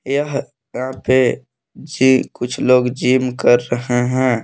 यह यहाँ पे जी कुछ लोग जिम कर रहे हैं।